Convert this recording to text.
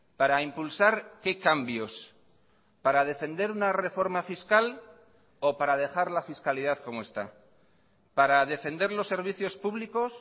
para impulsar qué cambios para defender una reforma fiscal o para dejar la fiscalidad como está para defender los servicios públicos